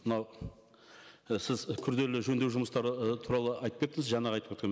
мынау і сіз күрделі жөндеу жұмыстары ы туралы айтып кеттіңіз жаңағы айтып өткен